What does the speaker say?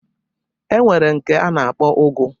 E nwere nke a na-akpọ ụgụ